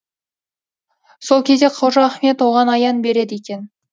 сол кезде қожа ахмет оған аян береді екен